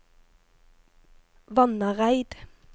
Vannareid